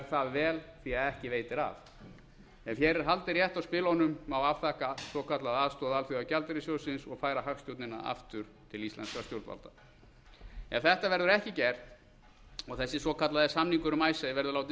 það vel því að ekki veitir af ef hér er haldið rétt á spilunum má afþakka svokallaða aðstoð alþjóðagjaldeyrissjóðsins og færa hagstjórnina aftur til íslenskra stjórnvalda ef þetta verður ekki gert og þessi svokallaði samningur um icesave verður látinn